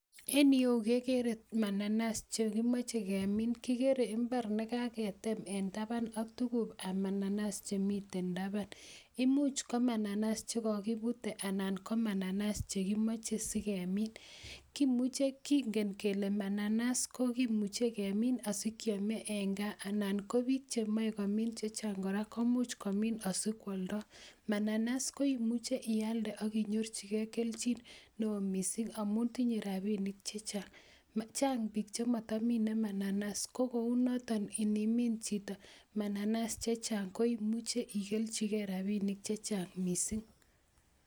En ireyu kegere mananas chekimoche kemin, kikere imbar nekageten en taban ak tukuk ab mananas chemiten taban, imuch ko mananas chekokibute anan ko mananas chekimoje kemin, kinken kole mananas kokimuje kemin sikyome en kaa anan ko biik chemoe komin chechang kora komuch komin asikwoldo, mananas koimuje kora ialde ak inyorjigen keljin neo missing amun tinye rabinik chechang, chang biik chemotomine mananas ko kounoton inimin chito mananas chechang koimuje ikeljigen rabinik chechang missing.